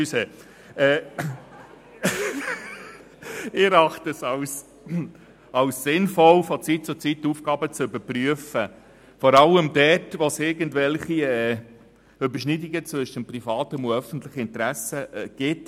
Ich erachte es als sinnvoll, von Zeit zu Zeit Aufgaben zu überprüfen, vor allem dort, wo es irgendwelche Überschneidungen zwischen dem privaten und dem öffentlichen Interesse gibt.